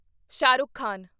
Shah Rukh Khan